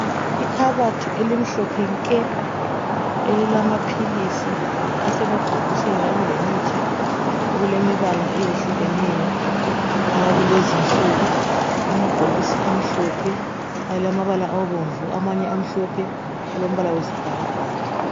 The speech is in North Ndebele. Ikhabothi elimhlophe nke elilamaphilisi esemabhokisi kanye lemithi okulemibala ehlukeneyo akulezi insuku amabhokisi amhlophe alamabala abomvu amanye amhlophe alombala wesibhakabhaka.